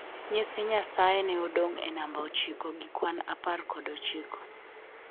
Nyithi nyasaye ne odong e namba ochiko gi kwan apar kod ochiko